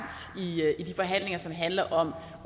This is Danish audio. i de forhandlinger som handler om